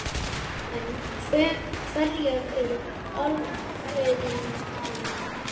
En hverjar eru afleiðingarnar?